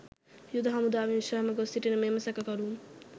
යුද හමුදාවෙන් විශ්‍රාම ගොස්‌ සිටින මෙම සැකකරු